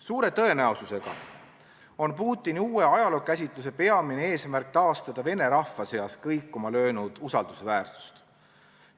Suure tõenäosusega on Putini uue ajalookäsituse peamine eesmärk taastada vene rahva seas kõikuma löönud usaldusväärsust.